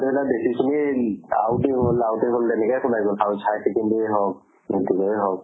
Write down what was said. দেউতা দেখিছো কি out এ হল out এ হল তেনেকে শুনে হওঁক, metric ৰে হওঁক